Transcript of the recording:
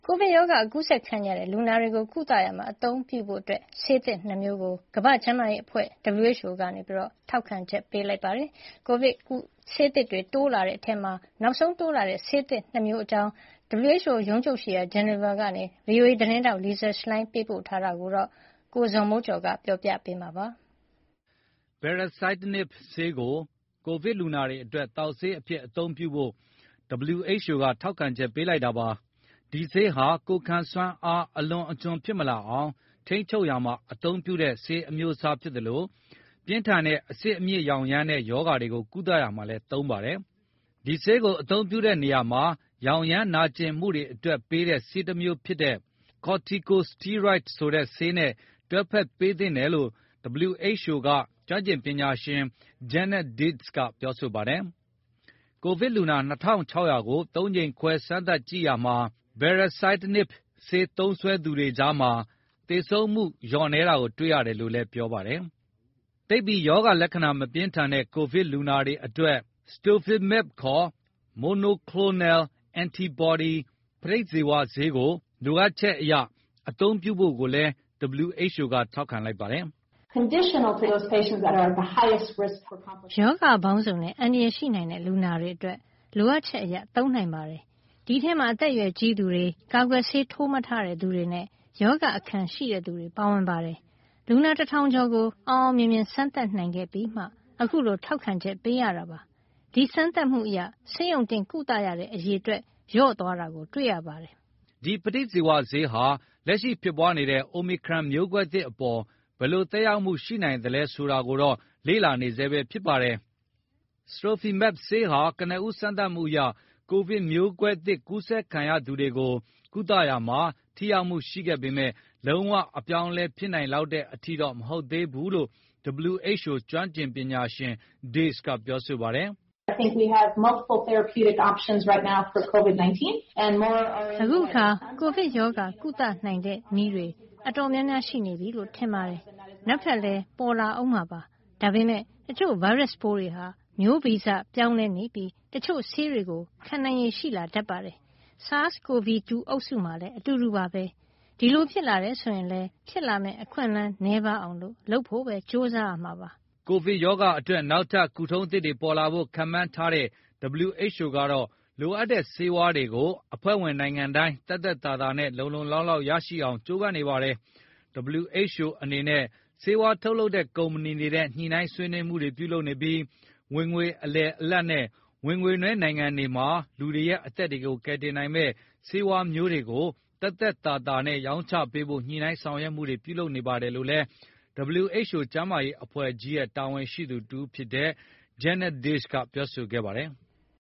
ိုဗစ်ရောဂါ ကူးစက်ခံရတဲ့ လူနာတွေကို ကုသရာမှာ အသုံးပြုဖို့ ဆေးသစ် ၂ မျိုးကို ကမ္ဘာ့ကျန်းမာရေးအဖွဲ့ကြီး က ထောက်ခံချက် ပေးလိုက်ပါတယ်။ ကိုဗစ်ကုဆေးသစ်တွေ တိုးလာနေတဲ့အထဲ နောက်ဆုံးပါဝင်လာတဲ့ ဆေးသစ် ၂ မျိုးအကြောင်း WHO ရုံးချုပ်ရှိရာ ဆွစ်ဇာလန်နိုင်ငံ ဂျီနီဗာမြို့ကနေ ဗွီအိုအေသတင်းထောက် Lisa Schlein သတင်းပေးပို့ထားတာကို ကိုဇော်မိုးကျော် တင်ပြပေးထားပါတယ်။ Baricitinib ဆေးသစ်ကို ကိုဗစ်လူနာတွေအတွက် သောက်ဆေးအဖြစ် အသုံးပြုဖို့ WHO က ထောက်ခံချက် ပေးလိုက်တာပါ။ ဒီဆေးဟာ ကိုယ်ခံစွမ်းအား အလွန်အကျွံ ဖြစ်မလာအောင် ထိန်းချုပ်ရာမှာ အသုံးပြုတဲ့ ဆေးအမျိုးအစား ဖြစ်သလို ပြင်းထန်တဲ့ အဆစ်အမြစ်ရောင်ရမ်းတဲ့ ရောဂါတွေကို ကုသရာမှာလည်း သုံးပါတယ်။ ဒီဆေးကို အသုံးပြုတဲ့နေရာမှာ ရောင်ရမ်းနာကျင်မှုတွေအတွက် ပေးတဲ့ ဆေးတမျိုးဖြစ်တဲ့ Corticosteroids ဆိုတဲ့ဆေးနဲ့ တွဲဖက်ပေးသင့်တယ်လို့ WHO က ကျွမ်းကျင်ပညာရှင် Janet Diaz က ပြောဆိုပါတယ်။ ကိုဗစ်လူနာ ၂,၆၀၀ ကို ၃ ကြိမ်ခွဲ စမ်းသပ်ကြည့်ရာမှာ Baricitinib ဆေး သုံးစွဲသူတွေကြားမှာ သေဆုံးမှုနှုန်း လျော့နည်းတာ တွေ့ရတယ်လို့လည်း ပြောပါတယ်။ သိပ်ပြီး ရောဂါလက္ခဏာ မပြင်းထန်တဲ့ ကိုဗစ်လူနာတွေအတွက် Sotrovimab ခေါ် Monoclonal Antibody ပဋိဇီဝဆေးကို လိုအပ်ချက်အရ အသုံးပြုဖို့လည်း WHO က ထောက်ခံလိုက်ပါတယ်။ “ရောဂါပေါင်းစုံနဲ့ အန္တရာယ်ရှိနိုင်တဲ့ လူနာတွေအတွက် လိုအပ်ချက်အရ သုံးနိုင်ပါတယ်။ ဒီအထဲမှာ အသက်အရွယ်ကြီးသူတွေ၊ ကာကွယ်ဆေး ထိုးမထားတဲ့သူတွေနဲ့ ရောဂါအခံရှိတဲ့သူတွေ ပါဝင်ပါတယ်။ လူနာ ၁,၀၀၀ ကျော်ကို အောင်အောင်မြင်မြင် စမ်းသပ်နိုင်ခဲ့ပြီးမှ အခုလို ထောက်ခံချက် ပေးရတာပါ။ ဒီစမ်းသပ်မှုအရ ဆေးရုံတင်ကုသရတဲ့ အရေအတွက် လျော့သွားတာ တွေ့ရပါတယ်။” ဒီပဋိဇီဝဆေးဟာ လက်ရှိပြန့်ပွားနေတဲ့ အိုမီခရွန် မျိုးကွဲသစ်အပေါ် ဘယ်လိုသက်ရောက်မှု ရှိနိုင်သလဲ ဆိုတာကိုတော့ လေ့လာနေဆဲပဲ ဖြစ်ပါတယ်။ Sotrovimab ဆေးဟာ ကနဦး စမ်းသပ်မှုတွေအရ ကိုဗစ်မျိုးကွဲသစ် ကူးစက်ခံရသူတွေကို ကုသရာမှာ ထိရောက်မှုရှိပေမယ့် လုံးဝ အပြောင်းအလဲ ဖြစ်နိုင်လောက်တဲ့ အထိတော့ မဟုတ်သေးဘူးလို့လည်း WHO က ကျွမ်းကျင်ပညာရှင် Diaz က ပြောပါတယ်။ “အခုအခါ ကိုဗစ်ရောဂါ ကုနိုင်တဲ့နည်းတွေ တော်တော်များများ ရှိနေပြီလို့ ထင်ပါတယ်။ နောက်ထပ်လည်း ပေါ်လာဦးမှာပါ။ ဒါပေမယ့် တချို့ဗိုင်းရပ်စ်ပိုးတွေဟာ မျိုးဗီဇပြောင်းလဲနေပြီး တချို့ဆေးတွေကို ခံနိုင်ရည်ရှိတတ်ပါတယ်။ SARS-Covid 2 အုပ်စုမှာလည်း အတူတူပါပဲ။ ဒီလိုဖြစ်လာတယ်ဆိုရင်လည်း ဖြစ်လာမယ့် အခွင့်အလမ်း နည်းပါးအောင် လုပ်ဖို့ပဲ ကြိုးစားရမှာပါ။” ကိုဗစ်ရောဂါအတွက် နောက်ထပ် ကုထုံးသစ်တွေ ပေါ်လာဖို့ ခန့်မှန်းထားတဲ့ WHO ကတော့ လိုအပ်တဲ့ဆေးဝါးတွေကို အဖွဲ့ဝင်နိုင်ငံတိုင်း သက်သက်သာသာနဲ့ လုံလုံလောက်လောက် ရအောင်လုပ်ဖို့ ကြိုးပမ်းနေပါတယ်။ WHO အနေနဲ့ ဆေးဝါးထုတ်လုပ်တဲ့ ကုမ္ပဏီတွေနဲ့ ညှိနှိုင်းဆွေးနွေးမှုတွေ ပြုလုပ်နေပြီး ဝင်ငွေအလယ်အလတ်နဲ့ ဝင်ငွေနည်း နိုင်ငံတွေမှာ လူတွေရဲ့ အသက်တွေကို ကယ်တင်နိုင်မယ့် ဆေးဝါးတွေကို ဈေးသက်သက်သာသာနဲ့ ရောင်းချပေးဖို့ ညှိနှိုင်းဆောင်ရွက်မှုတွေ ပြုလုပ်နေပါတယ်လို့လည်း WHO ကျန်းမာရေးအဖွဲ့ကြီးရဲ့ တာဝန်ရှိသူတဦးဖြစ်တဲ့ Janet Diaz က ပြောဆိုခဲ့ပါတယ်။